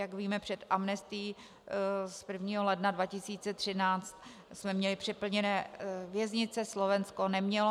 Jak víme, před amnestií z 1. ledna 2013 jsme měli přeplněné věznice, Slovensko nemělo.